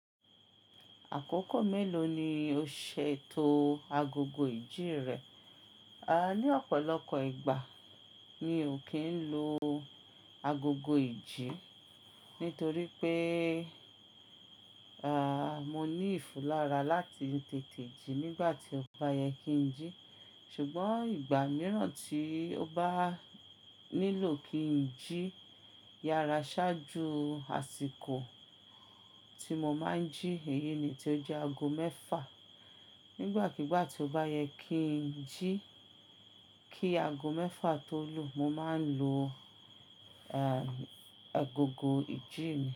Àkókò mélòó ni o ṣètò agogo ìjí rẹ? À ní ọ̀pọ̀lọpọ̀ ìgbà mi ò kí ń lo agogo ìjí, nítorí pé à, mo ní ìfulára láti tètè jí nígbà tí ó bá yẹ kí ń jí. Ṣùgbọ́n ìgbà mìíràn tí ó bá nílò kí ń jí yára ṣáájú àsìkò tí mo máa ń jí, èyí ni tí ó jẹ́ ago mẹ́fà. Nígbàkigbà tí ó bá yẹ kí ń jí kí ago mẹ́fà tó lù, mo máa ń lo, ẹ, agogo ìjí mi.